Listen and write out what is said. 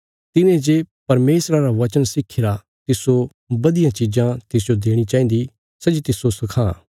तिने जे परमेशरा रा वचन सिक्खीरा तिस्सो बधिया चीजां तिसजो देणी चाहिन्दा सै जे तिस्सो सखां